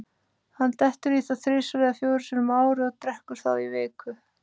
Hann dettur í það þrisvar eða fjórum sinnum á ári og drekkur þá í viku.